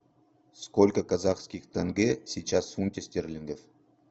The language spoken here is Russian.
сколько казахских тенге сейчас в фунте стерлингов